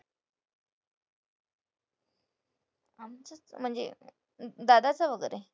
म्हणजे? दादाचा वगैरे?